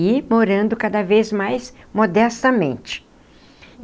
e morando cada vez mais modestamente.